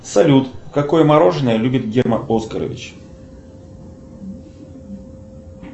салют какое мороженое любит герман оскарович